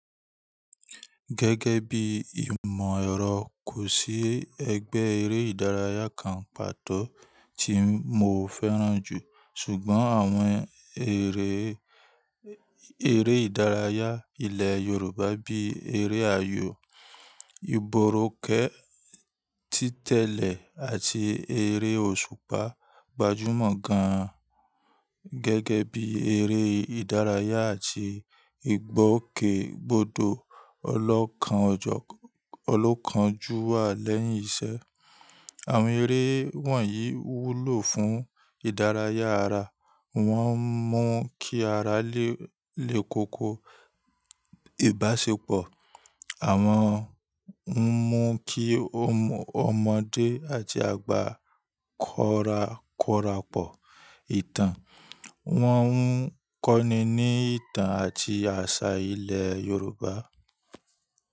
Gẹ́gẹ́ bí i ìmọ̀ ẹ̀rọ, kò sí ẹgbẹ́ eré ìdárayá kan pàtó tí mo fẹ́ràn jù. Ṣùgbọ́n àwọn eré, eré ìdárayá ilẹ̀ Yorùbá bí eré ayò, ìborokẹ́, títẹ̀lé àti eré òṣùpá gbajúmọ̀ gan gẹ́gẹ́ bí eré ìdárayá àti ìgbọ́kègbodò ọlọ́kan ọjọ́, ọlọ́kan jú wá lẹ́yìn iṣẹ́. Àwọn eré wọ̀nyí wúlò fún ìdárayá ara. Wọ́n ń mú kí ara lé lekoko ìbáṣepọ̀. Àwọn ń mú kí ọmọdé àti àgbà kọrakọra pọ̀ ìtàn. Wọ́n ń kọ́ni ní ìtàn àti àṣà ilẹ̀ Yorùbá.